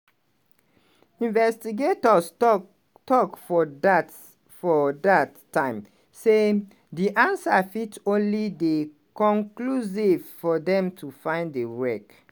investigators tok tok for dat for dat time say "di answer fit only dey conclusive for dem to find di wreck".